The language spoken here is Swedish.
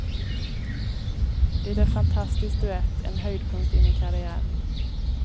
Det är fantastisk duett, en höjdpunkt i min karriär.